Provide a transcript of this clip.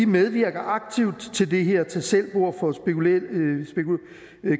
medvirker aktivt til det her tag selv bord for